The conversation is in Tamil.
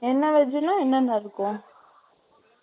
என்ன veg ன்னா, என்னென்ன இருக்கும்?